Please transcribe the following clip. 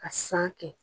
Ka san kɛ